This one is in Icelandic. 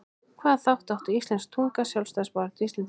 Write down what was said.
Hvaða þátt átti íslensk tunga í sjálfstæðisbaráttu Íslendinga?